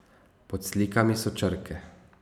Pod slikami so črke.